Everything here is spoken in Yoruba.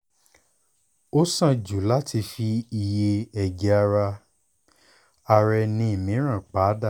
o sàn jù láti fi iye ẹ̀jẹ̀ ara ara ẹni mìíràn pa dà